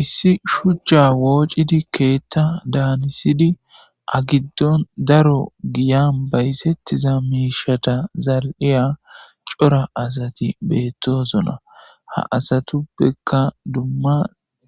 Issi shuchcha woocidi keethta daanisidi agiddon daro giyan baysettiza miishata zal'iya cora asati beettosona ha asatuppekka dumma